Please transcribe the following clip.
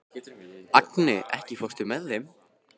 Agni, ekki fórstu með þeim?